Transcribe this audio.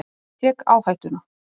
Ég tek áhættuna.